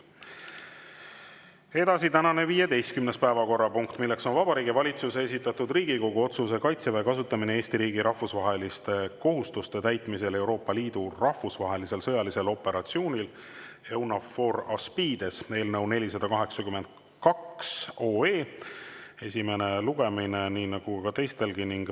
Edasi, tänane 15. päevakorrapunkt, milleks on Vabariigi Valitsuse esitatud Riigikogu otsuse "Kaitseväe kasutamine Eesti riigi rahvusvaheliste kohustuste täitmisel Euroopa Liidu rahvusvahelisel sõjalisel operatsioonil EUNAVFOR ASPIDES" eelnõu 482 esimene lugemine, nii nagu teistelgi.